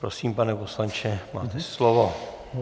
Prosím, pane poslanče, máte slovo.